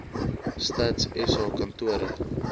stats sa kantore